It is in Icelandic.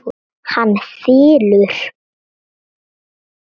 Hann þylur: